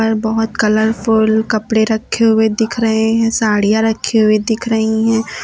बहोत कलरफुल कपड़े रखे हुए दिख रहे हैं साड़ियां रखी हुई दिख रही है।